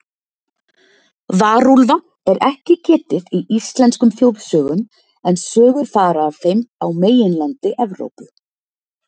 Varúlfa er ekki getið í íslenskum þjóðsögum, en sögur fara af þeim á meginlandi Evrópu.